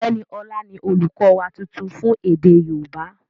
Ọ̀gbẹ́ni Ọlá ni olùkọ́ wa tuntun fún èdè yóòbá